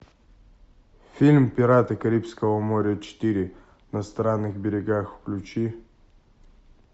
фильм пираты карибского моря четыре на странных берегах включи